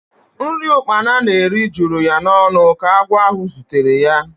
Nri ukpana na-eri juru ya n'ọnụ ka agwọ ahụ zutere ya.